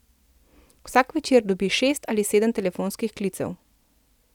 Vsak večer dobi šest ali sedem telefonskih klicev.